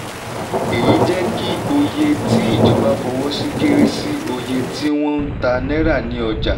èyí jẹ́ kí òye tí ìjọba fọwọ́ sí kéré sí òye tí wọ́n ń tà náírà ní ọjà.